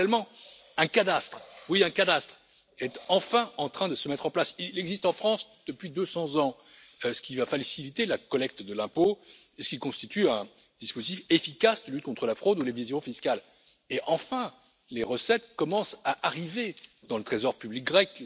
Parallèlement, un cadastre, oui un cadastre est enfin en train de se mettre en place il existe en France depuis 200 ans ce qui va faciliter la collecte de l'impôt et ce qui constitue un dispositif efficace de lutte contre la fraude ou l'évasion fiscale et, enfin, les recettes commencent à arriver dans le trésor public grec.